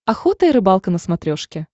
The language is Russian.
охота и рыбалка на смотрешке